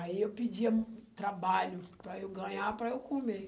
Aí, eu pedia trabalho para eu ganhar, para eu comer.